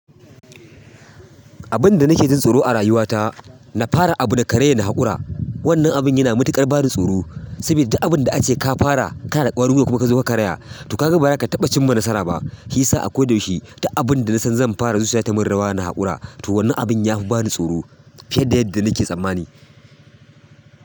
Abin da nake jin tsoro a rayuwata na fara abu na karaya na haƙura. Wannan abin yana matuƙar bani tsoro, saboda duk abin da za ace ka fara ka na da ƙwarin gwiwa kuma ka zo ka karya, to ka ga baza ka taɓa cimma nasara ba. Hisa a ko da yaushe, duk abin da na san zan fara zuciya ta mun rawa na haƙura. To wannan abin ya fi bani tsoro fiye da yadda nake tsammani.